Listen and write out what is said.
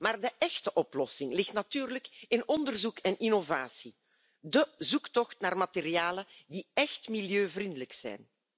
Maar de echte oplossing ligt natuurlijk in onderzoek en innovatie, de zoektocht naar materialen die echt milieuvriendelijk zijn.